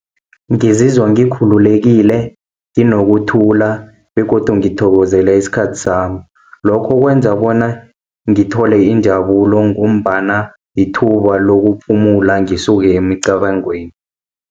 Ngizizwa ngikhululekile, nginokuthula, begodu ngiyathokozela isikhathi sami. Lokho kwenza bona, ngithole injabulo ngombana yithuba lokuphumula, ngisuke emicabangweni.